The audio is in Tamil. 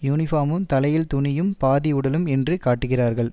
யூனிபார்மும் தலையில் துணியும் பாதி உடலும் என்று காட்டுகிறார்கள்